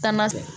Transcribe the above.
Taama